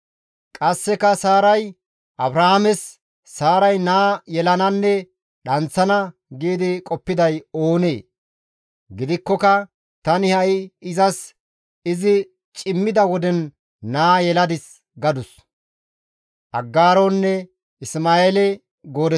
Qasseka Saaray, «Abrahaames Saaray naa yelananne dhanththana giidi qoppiday oonee? Gidikkoka tani ha7i izas izi cimmida woden naa yeladis» gadus.